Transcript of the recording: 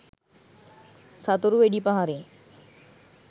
සතුරු වෙඩි පහරින්